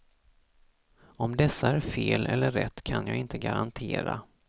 Om dessa är fel eller rätt kan jag inte garantera.